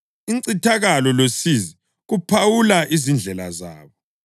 incithakalo losizi kuphawula izindlela zabo,